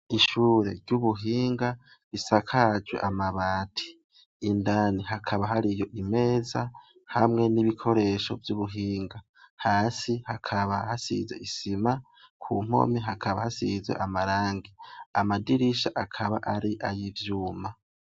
Ishure ry’ubuhinga risakajwe amabati, indani hakaba hariyo imeza hamwe n’ibikoresho vy’ubuhinga. Hasi hakaba hasize isima , kumpome hakaba hasize amarangi. Amadirisha akaba ari ay’ivyuma.